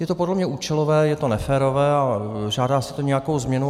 Je to podle mě účelové, je to neférové a žádá si to nějakou změnu.